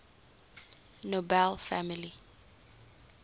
nobel family